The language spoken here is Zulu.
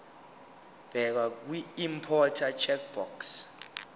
bheka kwiimporter checkbox